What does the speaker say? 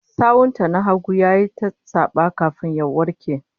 Sawun ta na hagu yayi ta saba, kafin ya warke